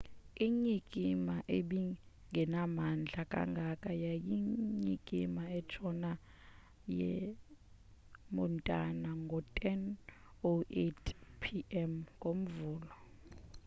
inyikima ebingenamandla kangako yanyikima entshona yemontana ngo-10:08 p.m. ngomvulo